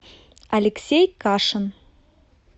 алексей кашин